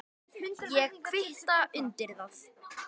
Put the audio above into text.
Ég kvitta undir það.